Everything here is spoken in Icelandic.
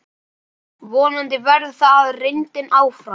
Vonandi verður það reyndin áfram.